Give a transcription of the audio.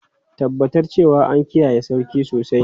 Tabbatar cewa an kiyaye sarki sosai!